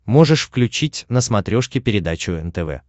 можешь включить на смотрешке передачу нтв